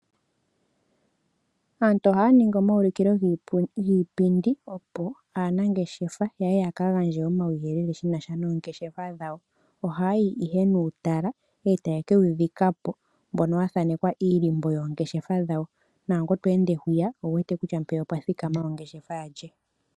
Aantu ohaya ningi omayulukilo giipindi opo aanangeshefa yaye yaka gandje omauyelele shinasha noongeshefa dhawo, ohayayi ihe nuutala taye kewu dhika po mboka wathanekwa iilimbo yoongeshefa dhawo nangu to ende hwiya owuwete kutya mpeya opwathikama ongeshefa ya lye.